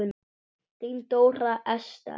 Þín Dóra Esther.